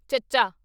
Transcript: ਚੱਚਾ